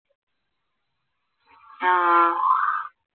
ആഹ്